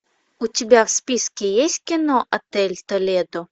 у тебя в списке есть кино отель толедо